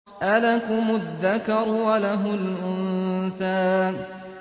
أَلَكُمُ الذَّكَرُ وَلَهُ الْأُنثَىٰ